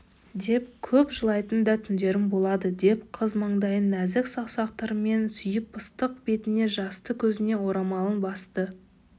деп көп жылайтын да түндерім болады деп қыз маңдайын нәзік саусақтарымен сүйеп ыстық бетіне жасты көзіне орамалын басты